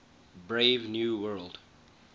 brave new world